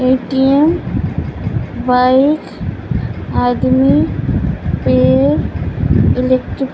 ATM. Bike आदमी पेड़ इलेक्ट्री --